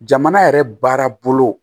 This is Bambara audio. Jamana yɛrɛ baara bolo